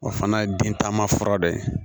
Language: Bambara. O fana ye bin taama fura dɔ ye